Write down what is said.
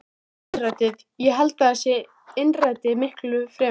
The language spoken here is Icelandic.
Innrætið, ég held að það sé innrætið miklu fremur.